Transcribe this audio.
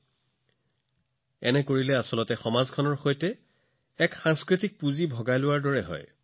যেতিয়া আপোনালোকে এনে কৰে এক প্ৰকাৰে আপোনালোকে সমগ্ৰ সমাজৰ সৈতে এক সাংস্কৃতিক মূলধন ভাগ বতৰা কৰে